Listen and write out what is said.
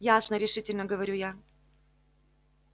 ясно решительно говорю я